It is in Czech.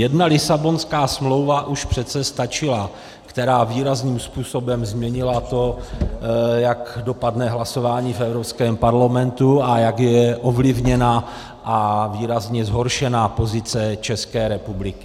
Jedna Lisabonská smlouva už přece stačila, která výrazným způsobem změnila to, jak dopadne hlasování v Evropském parlamentu a jak je ovlivněna a výrazně zhoršena pozice České republiky.